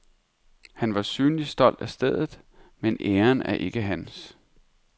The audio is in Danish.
Han er synligt stolt af stedet, men æren er ikke hans.